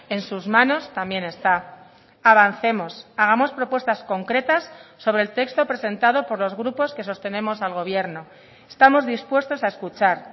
en sus manos también está avancemos hagamos propuestas concretas sobre el texto presentado por los grupos que sostenemos al gobierno estamos dispuestos a escuchar